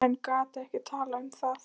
En gat ekki talað um það.